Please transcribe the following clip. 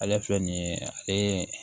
Ale filɛ nin ye ale